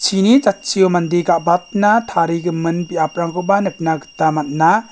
chini jatchio mande ga·batna tarigimin biaprangkoba nikna gita man·a.